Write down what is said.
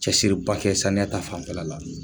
Cɛsiri ba kɛ saniya ta fan fɛ la la.